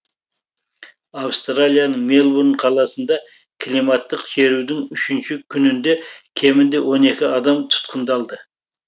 австралияның мельбурн қаласында климаттық шерудің үшінші күнінде кемінде он екі адам тұтқындалды